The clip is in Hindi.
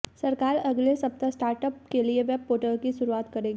सरकार अगले सप्ताह स्टार्ट अप के लिए वेब पोर्टल की शुरुआत करेगी